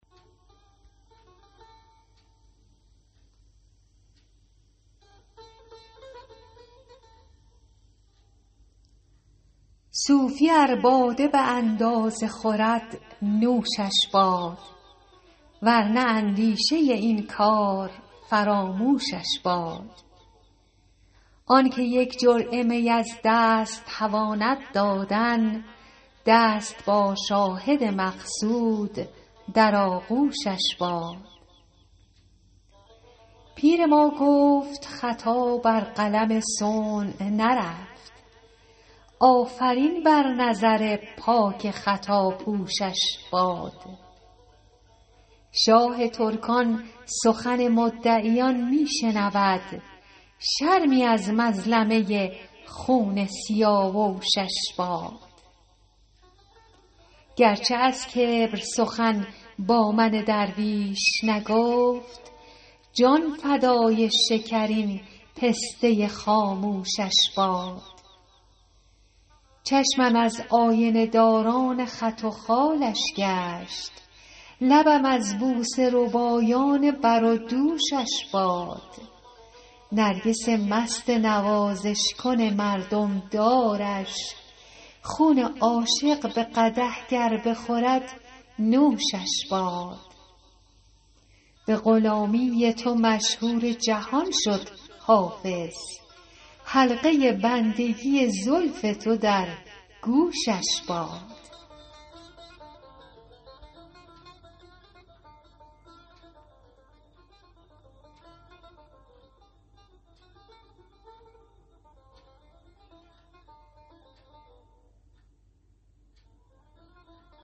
صوفی ار باده به اندازه خورد نوشش باد ور نه اندیشه این کار فراموشش باد آن که یک جرعه می از دست تواند دادن دست با شاهد مقصود در آغوشش باد پیر ما گفت خطا بر قلم صنع نرفت آفرین بر نظر پاک خطاپوشش باد شاه ترکان سخن مدعیان می شنود شرمی از مظلمه خون سیاوشش باد گر چه از کبر سخن با من درویش نگفت جان فدای شکرین پسته خاموشش باد چشمم از آینه داران خط و خالش گشت لبم از بوسه ربایان بر و دوشش باد نرگس مست نوازش کن مردم دارش خون عاشق به قدح گر بخورد نوشش باد به غلامی تو مشهور جهان شد حافظ حلقه بندگی زلف تو در گوشش باد